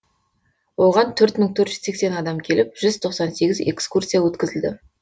оған төрт мың төрт жүз сексен адам келіп жүз тоқсан сегіз экскурсия өткізілді